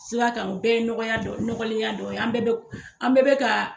Sira kan o bɛɛ ye nɔgɔya ɲɔgɔnlenya dɔ, an bɛɛ bɛ ka.